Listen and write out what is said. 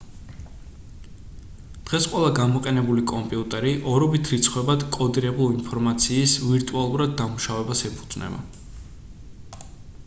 დღეს ყველა გამოყენებული კომპიუტერი ორობით რიცხვებად კოდირებული ინფორმაციის ვირტუალურად დამუშავებას ეფუძნება